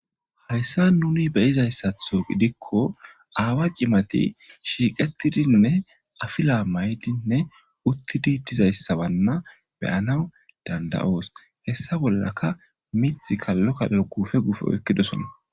Haysan nuuni be'izasato gidiko aawa cimati sheeqetidine afila mayidine uthidi dizaysa malana be'anawu danda'os heysa bolaka mithi kalo kalo guufe guufe oykidisona.